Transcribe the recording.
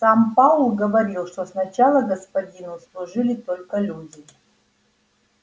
сам пауэлл говорил что сначала господину служили только люди